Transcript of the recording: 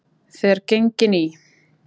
Þegar gengin í